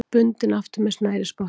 Bundinn aftur með snærisspotta.